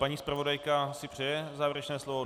Paní zpravodajka si přeje závěrečné slovo?